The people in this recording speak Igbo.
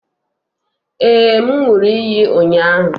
Ee, m ṅụrụ iyi ụnyahụ